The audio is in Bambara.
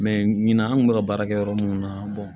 ɲina an kun bɛ ka baara kɛ yɔrɔ mun na